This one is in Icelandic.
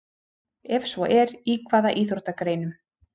Ef svo er, í hvaða íþróttagreinum?